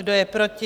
Kdo je proti?